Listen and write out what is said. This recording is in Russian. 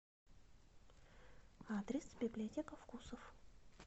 адрес библиотека вкусов